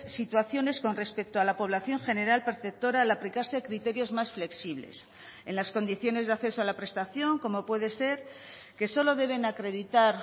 situaciones con respecto a la población general perceptora al aplicarse criterios más flexibles en las condiciones de acceso a la prestación como puede ser que solo deben acreditar